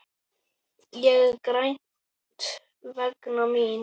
Ég græt vegna mín.